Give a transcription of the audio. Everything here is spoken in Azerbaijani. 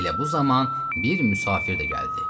Elə bu zaman bir müsafir də gəldi.